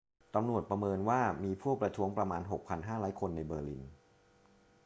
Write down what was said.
ตำรวจประเมินว่ามีผู้ประท้วงประมาณ 6,500 คนในเบอร์ลิน